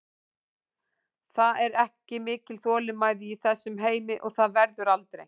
Það er ekki mikil þolinmæði í þessum heimi og það verður aldrei.